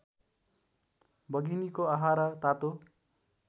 बघिनीको आहारा तातो